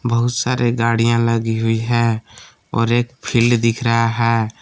बहुत सारे गाड़ियां लगी हुई हैं और एक फील्ड दिख रहा है।